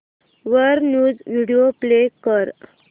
वर news video play कर